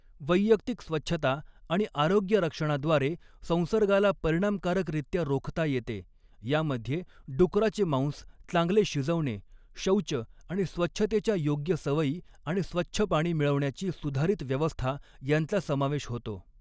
वैयक्तिक स्वच्छता आणि आरोग्यरक्षणाद्वारे संसर्गाला परिणामकारकरीत्या रोखता येते, यामध्ये डुकराचे मांस चांगले शिजवणे, शौच आणि स्वच्छतेच्या योग्य सवयी आणि स्वच्छ पाणी मिळवण्याची सुधारित व्यवस्था यांचा समावेश होतो.